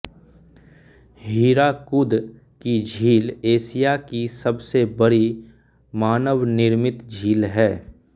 हीराकुद की झील एशिया की सबसे बड़ी मानवनिर्मित झील है